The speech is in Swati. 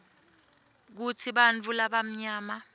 kutsi bantfu labamnyama